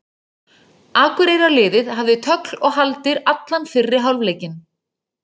Akureyrarliðið hafði tögl og haldir allan fyrri hálfleikinn.